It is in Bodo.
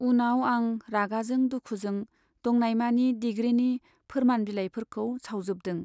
उनाव आं रागाजों दुखुजों दंनायमानि डिग्रीनि फोरमान बिलाइफोरखौ सावजोबदों।